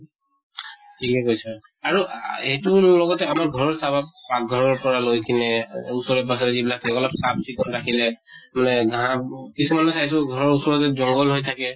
ঠিকে কৈছা। আৰু আহ সেইটোৰ লগতে আমাৰ ঘৰত চাবা পাক্ঘৰৰ পৰা লৈ কিনে ওচৰে পাজৰে যিবিলাক লগা লগ চাফ চিকুন ৰাখিলে মানে ঘাঁহ কিছুমানে চাইছো ঘৰৰ ওচৰতে জঙ্ঘল হৈ থাকে